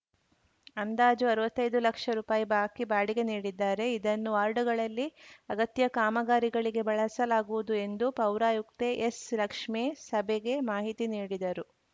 ಅಂದಾಜು ಅರವತ್ತೈದು ಲಕ್ಷ ರುಪಾಯಿ ಬಾಕಿ ಬಾಡಿಗೆ ನೀಡಿದ್ದಾರೆ ಇದನ್ನು ವಾರ್ಡ್‌ಗಳಲ್ಲಿ ಅಗತ್ಯ ಕಾಮಗಾರಿಗಳಿಗೆ ಬಳಸಲಾಗುವುದು ಎಂದು ಪೌರಾಯುಕ್ತೆ ಎಸ್‌ಲಕ್ಷ್ಮೇ ಸಭೆಗೆ ಮಾಹಿತಿ ನೀಡಿದರು